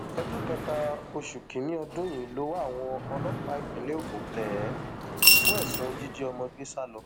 ọjọ kẹta oṣù kìnínní ọdún yìí lowó àwọn ọlọpàá ìpínlẹ ogun tẹ ẹ fún ẹsùn jíjí ọmọ gbé sá lọ